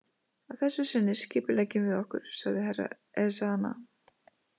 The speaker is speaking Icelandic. Að þessu sinni skipuleggjum við okkur, sagði Herra Ezana.